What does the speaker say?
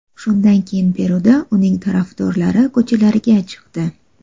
Shundan keyin Peruda uning tarafdorlari ko‘chalarga chiqdi.